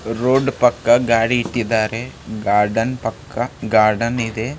road ಪಕ್ಕ ಗಾಡಿ ಇಟ್ಟಿದ್ದಾರೆ ಗಾರ್ಡನ್ ಪಕ್ಕ ಗಾರ್ಡನ್ --